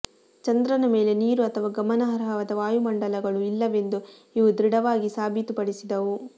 ಚಂದ್ರನ ಮೇಲೆ ನೀರು ಅಥವಾ ಗಮನಾರ್ಹವಾದ ವಾಯುಮಂಡಲಗಳು ಇಲ್ಲವೆಂದು ಇವು ದೃಢವಾಗಿ ಸಾಬೀತುಪಡಿಸಿದವು